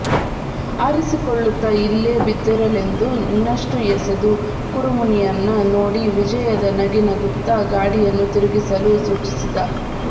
ಆರಿಸಿಕೊಳ್ಳುತ್ತ ಇಲ್ಲೇ ಬಿದ್ದಿರಲೆಂದು ಇನ್ನಷ್ಟು ಎಸೆದು ಕುರುಮುನಿಯನ್ನ ನೋಡಿ ವಿಜಯದ ನಗೆ ನಗುತ್ತ ಗಾಡಿಯನ್ನು ತಿರುಗಿಸಲು ಸೂಚಿಸಿದ